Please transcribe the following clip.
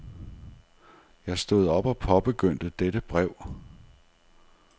Jeg stod op og påbegyndte dette brev.